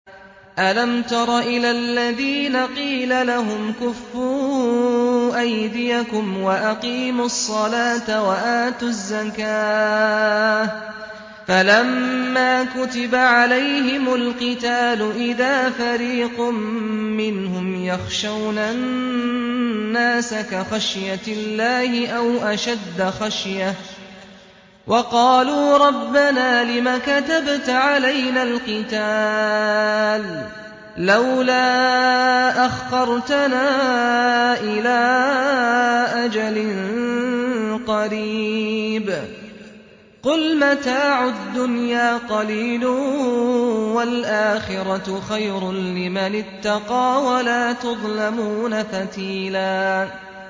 أَلَمْ تَرَ إِلَى الَّذِينَ قِيلَ لَهُمْ كُفُّوا أَيْدِيَكُمْ وَأَقِيمُوا الصَّلَاةَ وَآتُوا الزَّكَاةَ فَلَمَّا كُتِبَ عَلَيْهِمُ الْقِتَالُ إِذَا فَرِيقٌ مِّنْهُمْ يَخْشَوْنَ النَّاسَ كَخَشْيَةِ اللَّهِ أَوْ أَشَدَّ خَشْيَةً ۚ وَقَالُوا رَبَّنَا لِمَ كَتَبْتَ عَلَيْنَا الْقِتَالَ لَوْلَا أَخَّرْتَنَا إِلَىٰ أَجَلٍ قَرِيبٍ ۗ قُلْ مَتَاعُ الدُّنْيَا قَلِيلٌ وَالْآخِرَةُ خَيْرٌ لِّمَنِ اتَّقَىٰ وَلَا تُظْلَمُونَ فَتِيلًا